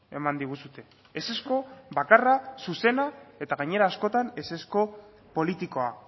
eman diguzue ezezko bakarra zuzena eta gainera askotan ezezko politikoa